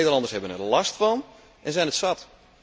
De Nederlanders hebben er last van en zijn het zat.